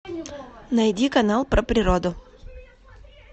найди канал про природу